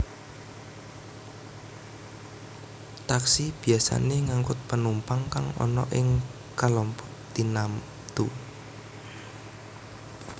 Taksi biyasané ngangkut penumpang kang ana ing kalompok tinamtu